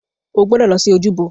O gbọdọ̀ lọ sí ojúbọ.